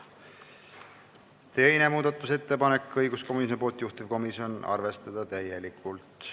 Teine muudatusettepanek on õiguskomisjonilt, juhtivkomisjon: arvestada täielikult.